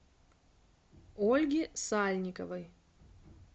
ольги сальниковой